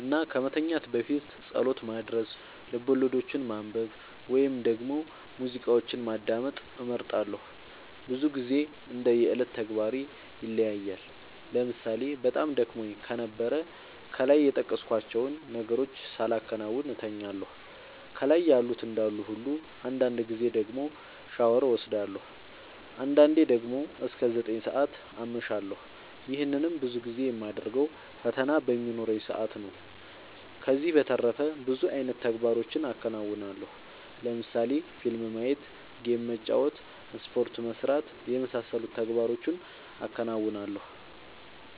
እና ከመተኛት በፊት ፀሎት ማድረስ፣ ልቦለዶችን ማንበብ ወይም ደግሞ ሙዚቃዎችን ማዳመጥ እመርጣለሁ። ብዙ ግዜ እንደ የዕለት ተግባሬ ይለያያል ለምሳሌ በጣም ደክሞኝ ከነበረ ከላይ የጠቀስኳቸውን ነገሮች ሳላከናውን እተኛለሁ ከላይ ያሉት እንዳሉ ሁሉ አንዳንድ ጊዜ ደግሞ ሻወር ወስዳለሁ። አንዳንዴ ደግሞ እስከ ዘጠኝ ሰዓት አመሻለሁ ይህንንም ብዙ ጊዜ የማደርገው ፈተና በሚኖረኝ ሰአት ነው። ከዚህ በተረፈ ብዙ አይነት ተግባሮችን አከናወናለሁ ለምሳሌ ፊልም ማየት ጌም መጫወት ስፖርት መስራት የመሳሰሉት ተግባሮቹን አከናውናለሁ።